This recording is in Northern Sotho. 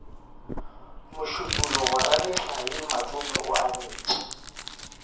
mošupologo rametlae matome o abetše